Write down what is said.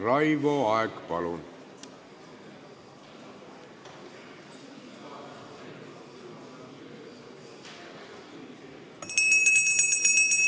Raivo Aeg, palun!